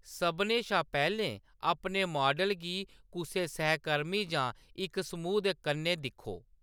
सभनें शा पैह्‌‌‌लें, अपने मॉडल गी कुसै सहकर्मी जां इक समूह् दे कन्नै दिक्खो।